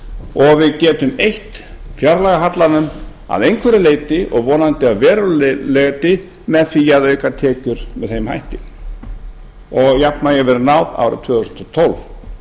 og við getum eytt fjárlagahallanum að einhverju leyti og vonandi að verulegu leyti með því að auka tekjur með þeim hætti og jafnvægi verði náð árið tvö þúsund og tólf